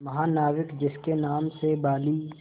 महानाविक जिसके नाम से बाली